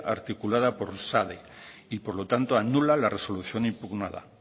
articulada por sade y por lo tanto anula la resolución impugnada